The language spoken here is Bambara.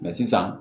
sisan